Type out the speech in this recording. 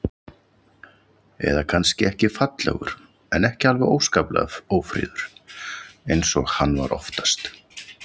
Eða kannski ekki fallegur, en ekki alveg óskaplega ófríður eins og hann var oftast.